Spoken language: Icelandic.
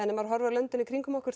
ef maður horfir á löndin í kringum okkur